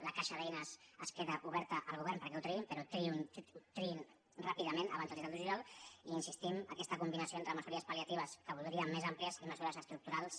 la caixa d’eines es queda oberta al govern perquè ho triïn però triïn ràpidament abans del disset de juliol i insistim en aques·ta combinació entre mesures pal·més àmplies i mesures estructurals